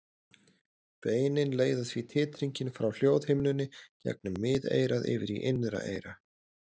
Beinin leiða því titringinn frá hljóðhimnunni gegnum miðeyrað yfir í innra eyra.